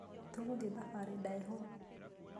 Tũgũthiĩ thabarĩ ndaĩhũ.